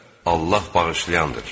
Allah bağışlayandır.